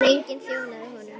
En enginn þjónaði honum.